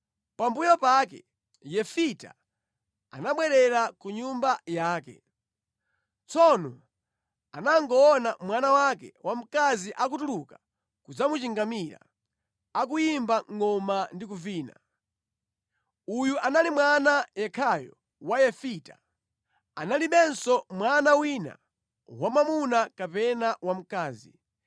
Pambuyo pake Yefita anabwerera ku nyumba yake. Tsono anangoona mwana wake wamkazi akutuluka kudzamuchingamira akuyimba ngʼoma ndi kuvina. Uyu anali mwana yekhayo wa Yefita. Analibenso mwana wina wamwamuna kapena wamkazi.